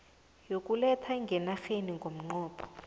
yokuletha ngenarheni ngomnqopho